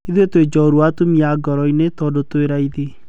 Ithuĩ twĩ Njorua atumia goroinĩ, tondũ ti raithi.